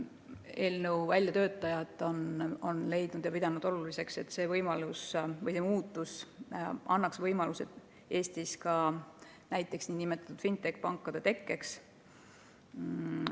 Eelnõu väljatöötajad on pidanud oluliseks, et see muudatus annab võimaluse Eestis ka näiteks nn fintech-pankade tekkeks.